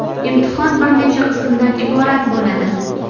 Imtihon bir necha qismdan iborat bo‘ladi.